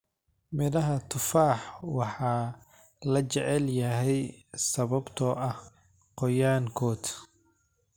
Midhaha tufaax waa la jecel yahay sababtoo ah qoyaan-kood.